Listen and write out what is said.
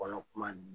Kɔnɔ kuma